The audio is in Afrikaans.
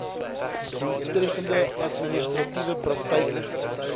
doeltreffende administratiewe praktyke